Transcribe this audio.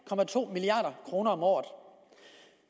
milliard kroner om året